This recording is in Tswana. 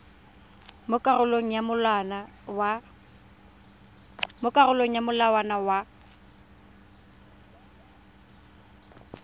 mo karolong ya molawana wa